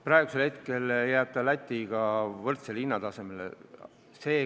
Praeguse plaani kohaselt jääb see hind Läti omaga võrdsele tasemele.